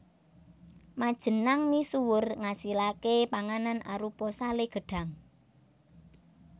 Majenanng misuwur ngasilaké panganan arupa salé gedhang